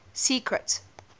secret